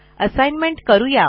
assignment करू या